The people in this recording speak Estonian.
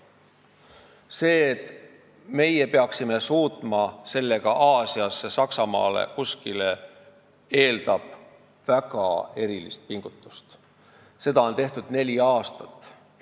See eeldab väga erilist pingutust, et me suudaksime selle saata Aasiasse, Saksamaale või kuskile mujale, ja seda on neli aastat tehtud.